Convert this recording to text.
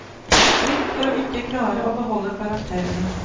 Frykt for å ikke klare å beholde karakterene.